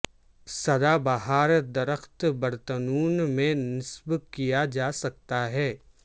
سدا بہار درخت برتنوں میں نصب کیا جا سکتا